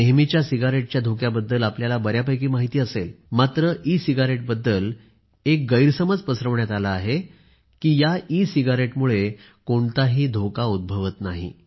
नेहमीच्या सिगरेटच्या धोक्याबद्दल आपल्याला बर्यापैकी माहिती असेल मात्र ई सिगरेट बद्दल एक गैरसमज पसरवण्यात आला आहे की ई सिगारेटमुळे कोणताही धोका उद्भवत नाही